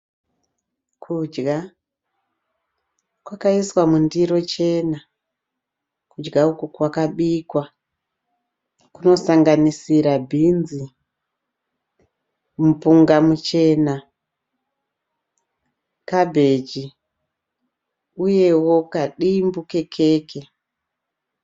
Kudya kwakaiswa mundiro chena. Kudya uku kwakabikwa. Kunosanganisira bhinzi, mupunga muchena, kabheji uyewo kadimbu kekeke.